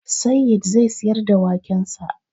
Sayyid zai siyar da wakensa